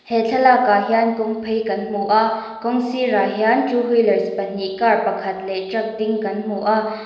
he thlalak ah hian kawng phei kan hmu a kawng sirah hian two wheeler pahnih car pakhat leh truck ding kan hmu a.